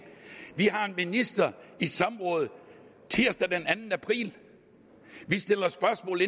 vi har en minister i samråd tirsdag den anden april vi stiller spørgsmål